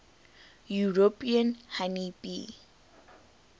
european honey bee